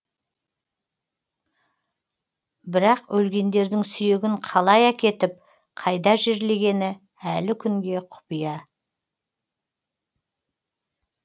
бірақ өлгендердің сүйегін қалай әкетіп қайда жерлегені әлі күнге құпия